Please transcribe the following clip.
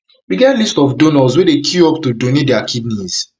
we get list of donors wey dey queue up to donate dia kidneys